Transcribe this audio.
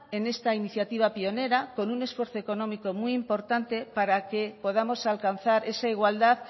en esta iniciativa pionera con un esfuerzo económico muy importante para que podamos alcanzar esa igualdad